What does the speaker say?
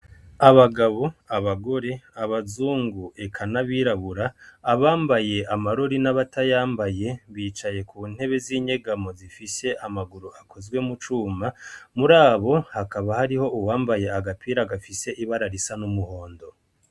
Abagabo, abagore, abazungu eka nabirabura abambaye amarori nabatayambaye bicaye kuntebe zinyegamo zifise amaguru akozwe mucuma murabo hakaba hariho uwambaye agapira gafise ibara risa numuhondo.